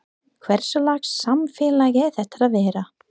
Hverslags samfélag er þetta að vera?